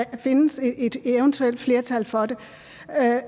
kan findes et eventuelt flertal for det